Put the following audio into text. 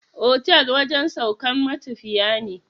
Otal wajen saukan matafiya ne